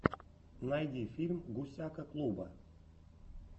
найди фильм гусяка клуба